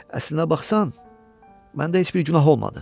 Əslinə baxsan, məndə heç bir günah olmadı.